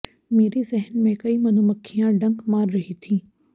मेरे ज़हन में कई मधुमक्खियां डंक मार रही थीं